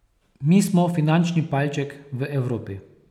Mi smo finančni palček v Evropi.